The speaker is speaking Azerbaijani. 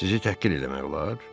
Sizi təhqir eləmək olar?